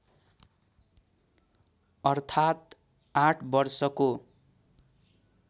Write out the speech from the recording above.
अर्थात् आठ वर्षको